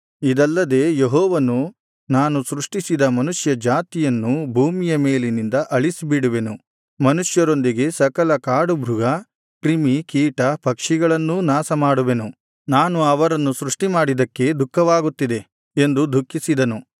ಇದಲ್ಲದೆ ಯೆಹೋವನು ನಾನು ಸೃಷ್ಟಿಸಿದ ಮನುಷ್ಯ ಜಾತಿಯನ್ನು ಭೂಮಿಯ ಮೇಲಿನಿಂದ ಅಳಿಸಿಬಿಡುವೆನು ಮನುಷ್ಯರೊಂದಿಗೆ ಸಕಲ ಕಾಡುಮೃಗ ಕ್ರಿಮಿ ಕೀಟ ಪಕ್ಷಿಗಳನ್ನೂ ನಾಶ ಮಾಡುವೆನು ನಾನು ಅವರನ್ನು ಸೃಷ್ಟಿಮಾಡಿದ್ದಕ್ಕೆ ದುಃಖವಾಗುತ್ತಿದೆ ಎಂದು ದುಃಖಿಸಿದನು